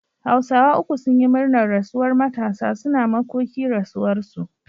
hausawa uku sunyi murnar rasuwar Matasa, suna makoki rasuwar su